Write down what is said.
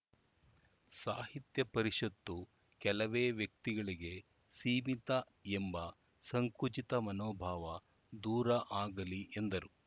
ಸಾಹಿತ್ಯ ಪರಿಷತ್ತು ಕೆಲವೇ ವ್ಯಕ್ತಿಗಳಿಗೆ ಸೀಮಿತ ಎಂಬ ಸಂಕುಚಿತ ಮನೋಭಾವ ದೂರ ಆಗಲಿ ಎಂದರು